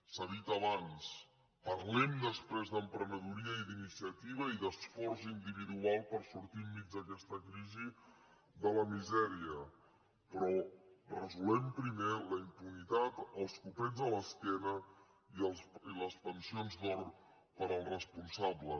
s’ha dit abans parlem després d’emprenedoria i d’iniciativa i d’esforç individual per sortir enmig d’aquesta crisi de la misèria però resolem primer la impunitat els copets a l’esquena i les pensions d’or per als responsables